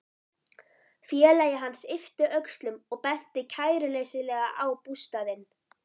Félagi hans yppti öxlum og benti kæruleysislega á bústaðinn.